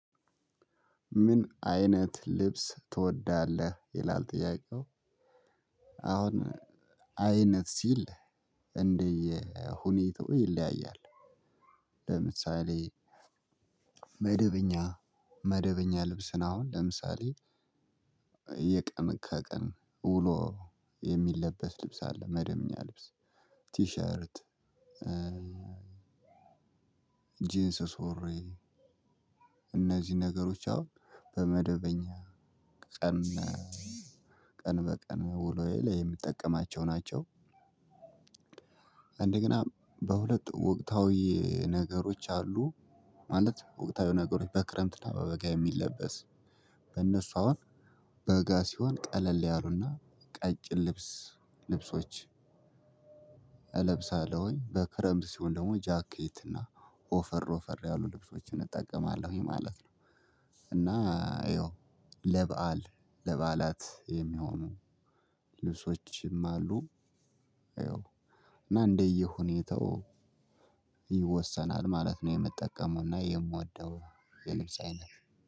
ምን? አይነት ልብስ ትወዳለህ ይላል ጥያቄው። አሁን አይነት ሲል እንደየሁኔታው ይለያያል። ለምሳሌ መደበኛ መደበኛ ልብስን አሁን ለምሳሌ የቀን ከቀን ውሎ የሚለበስ ልብስ አለ መደበኛ ልብስ ቲሸርት ሪያርት ጂንስ ሱሪ እነዚህን ነገሮች አሁን በመደበኛ ቀን ቀን በቀን ውሎዬ ላይ የምጠቀማቸው ናቸው። እንደገና በሁለት ወቅታዊ ነገሮች አሉ። ማለት ወቅታዊ ነገሮች በክረምትና በበጋ የሚለበስ እነሱ አሁን በጋ ሲሆን ቀለል ያሉና ቀጭን ልብስ ልብሶች። እለብሳለሁኝ በክረምት ሲሆን ደግሞ ጃኬት እና ወፈር ወፈር ያሉ ልብሶችን እጠቀማለሁኝ ማለት ነው። እና ይኸው ለበአል ለበዓላት የሚሆኑ ልብሶችም አሉ። እና እንደየሁኔታው ይወሰናል ማለት ነው የምጠቀመውና የምወደው የልብስ አይነት